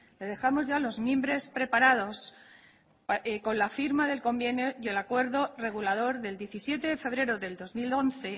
le dejamos ya los mimbres preparados con la firma del convenio y el acuerdo regulador del diecisiete de febrero del dos mil once